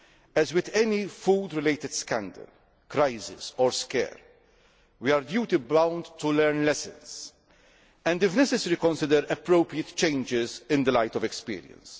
As with any food related scandal, crisis or scare, we are duty bound to learn lessons and, if necessary, consider appropriate changes in the light of experience.